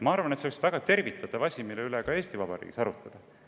Ma arvan, et see oleks väga tervitatav asi, mida ka Eesti Vabariigis arutada.